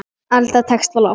Alda tekst á loft.